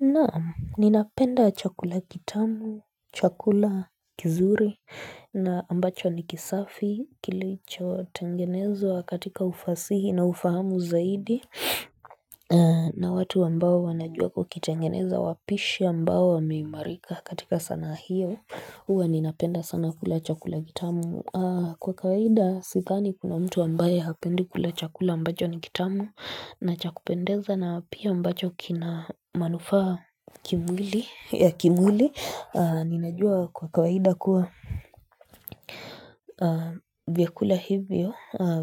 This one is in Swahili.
Naam, ninapenda chakula kitamu, chakula kizuri na ambacho nikisafi kilicho tengenezwa katika ufasihi na ufahamu zaidi na watu ambao wanajua kukitengeneza wapishi ambao wameimarika katika sana hiyo. Uwa ninapenda sana kula chakula kitamu Kwa kawaida sidhani kuna mtu ambaye hapendi kula chakula ambacho ni kitamu na chakupendeza na pia ambajo kina manufaa kimwili ya kimwili ninajua kwa kawaida kuwa vyakula hivyo